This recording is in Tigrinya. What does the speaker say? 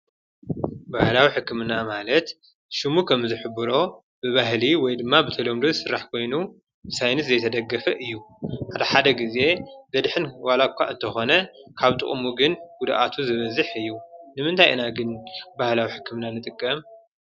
ባህላዊ ሕክምና ማለት ሽሙ ኸምዝሕብሮ ብባህሊ ወይ ድማ ብተሎምዶ ስራሕ ኮይኑ ብሳይንስ ዘይተደገፈ እዩ፡፡ ሓደ ሓደ ጊዜ ዘድሕን ዋላ እኳ እተኾነ ካብ ጥቕሙ ግን ጉድኣቱ ዝበዝሕ እዩ፡፡ ንምንታይ እና ግን ባህላዊ ሕክምና ንጥቀም?